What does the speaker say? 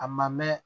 A ma mɛn